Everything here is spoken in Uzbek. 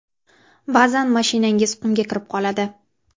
Ba’zan mashinangiz qumga kirib qoladi.